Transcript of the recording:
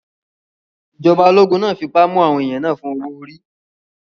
Ìjọba ológun náà fipá mú àwọn èèyàn náà fún owó-orí